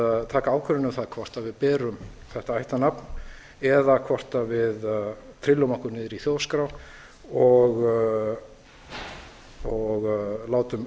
að taka ákvörðun um það hvort við berum þetta ættarnafn eða hvort við berum okkur niðri í þjóðskrá og látum